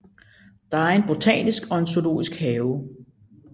Der er en botanisk og en zoologisk have